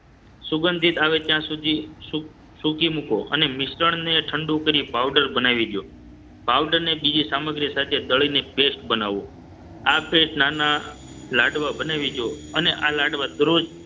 સુગંધિત આવે ત્યાં સુધી સૂકી મૂકો અને મિશ્રણને ઠંડું કરી પાવડર બનાવી દો. પાવડરને બીજી સામગ્રી સાથે દળીને paste બનાવો. આ paste નાના લાડવા બનાવી દો અને આ લાડવા દરરોજ